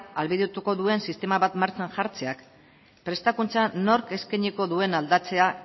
ahalbidetuko duen sistema bat martxan jartzeak prestakuntza nork eskainiko duen aldatzea